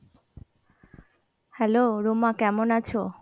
Hello Ruma কেমন আছো?